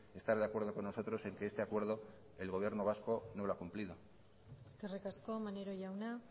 estar de acuerdo con nosotros en que este acuerdo el gobierno vasco no lo ha cumplido eskerrik asko maneiro jauna